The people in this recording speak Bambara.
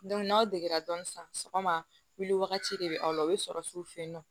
n'aw degera dɔɔnin sisan sɔgɔma wuli wagati de bɛ aw la o bɛ sɔrɔ su fɛ